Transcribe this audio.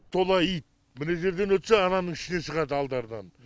тола ит мына жерден өтсе ананың ішінен шығады алдарынан